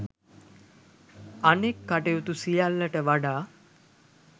අනෙක් කටයුතු සියල්ලට වඩා